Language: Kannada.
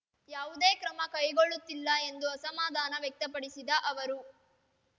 ಯಾವುದೇ ಕ್ರಮ ಕೈಗೊಳ್ಳುತ್ತಿಲ್ಲ ಎಂದು ಅಸಮಾಧಾನ ವ್ಯಕ್ತಪಡಿಸಿದ ಅವರು